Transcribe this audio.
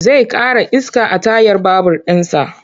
Zai ƙara iska a tayar babur ɗinsa.